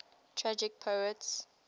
tragic poets